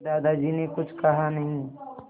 दादाजी ने कुछ कहा नहीं